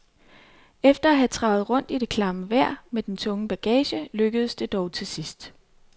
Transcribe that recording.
Efter at have travet rundt i det klamme vejr med den tunge bagage lykkedes det dog til sidst.